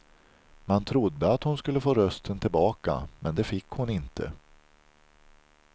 Man trodde att hon skulle få rösten tillbaka, men det fick hon inte.